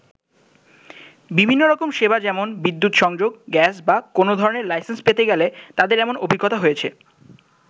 বিভিন্ন রকম সেবা যেমন বিদ্যুত সংযোগ, গ্যাস বা কোন ধরণের লাইসেন্স পেতে গেলে তাদের এমন অভিজ্ঞতা হয়েছে।